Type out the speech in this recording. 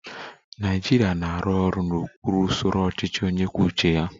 Naịjirịa na-arụ ọrụ n'okpuru usoro ọchịchị onye kwuo uche ya